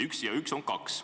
Üks ja üks on kokku kaks.